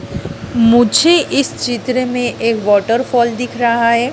मुझे इस चित्र में एक वॉटरफॉल दिख रहा है।